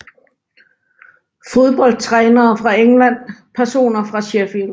Fodboldtrænere fra England Personer fra Sheffield